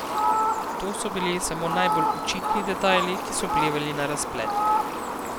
To so bili samo najbolj očitni detajli, ki so vplivali na razplet.